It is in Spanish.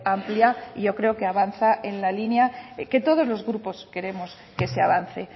amplia y yo creo que avanza en la línea en que todos los grupos queremos que se avance